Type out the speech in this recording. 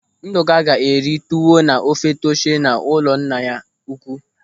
Ndụka ga-eri tuwo na ofe taushe n'ụlọ nna ya ukwu.